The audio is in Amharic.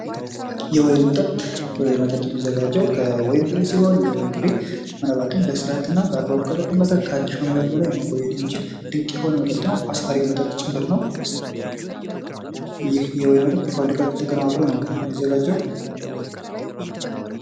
የወይን መጠጥ የወይን የሚዘጋጅ ከወይን ፍሬ ሲሆን ባላማባከን መስራትና ባግባቡ ከተቀመጠ ከአንድ ሺ ዓመታት በላይ መቆየት የሚችል ድንቅ የሆነ መጠጥ ነው አስካሪ መጠጥ ጭምር ነው ይህ የወይን መጠጥ በፋብሪካዎች ቀንባብሮ ነው የሚዘጋጀው ::